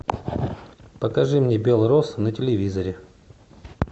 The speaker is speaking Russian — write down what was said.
покажи мне белрос на телевизоре